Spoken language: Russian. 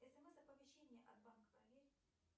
смс оповещения от банка проверь